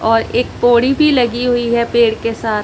और एक पोड़ी भी लगी हुई है पेड़ के साथ--